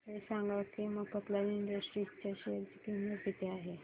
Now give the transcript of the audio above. हे सांगा की मफतलाल इंडस्ट्रीज च्या शेअर ची किंमत किती आहे